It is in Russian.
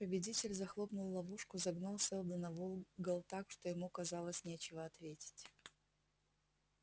победитель захлопнул ловушку загнал сэлдона в угол так что ему казалось нечего ответить